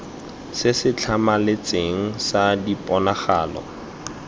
se se tlhamaletseng sa diponagalo